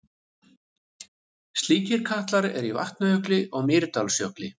Slíkir katlar eru í Vatnajökli og Mýrdalsjökli.